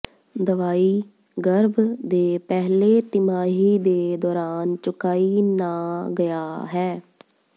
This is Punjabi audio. ਦਵਾਈ ਗਰਭ ਦੇ ਪਹਿਲੇ ਤਿਮਾਹੀ ਦੇ ਦੌਰਾਨ ਚੁਕਾਈ ਨਾ ਗਿਆ ਹੈ